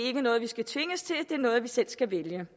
er noget vi skal tvinges til det er noget vi selv skal vælge